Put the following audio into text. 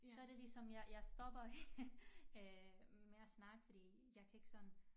Så det ligesom jeg jeg stopper øh med at snakke fordi jeg kan ikke sådan